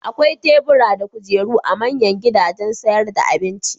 Akwai tebura da kujeru a manyan gidajen sayar da abinci.